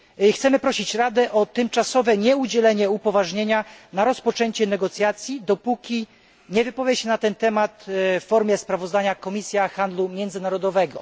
Chcemy prosić Radę o tymczasowe nieudzielanie upoważnienia na rozpoczęcie negocjacji, dopóki nie wypowie się na ten temat w formie sprawozdania Komisja Handlu Międzynarodowego.